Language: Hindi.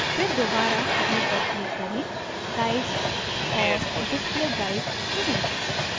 फिर दोबारा view पर click करें guides और display guides चुनें